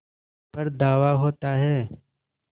पर धावा होता है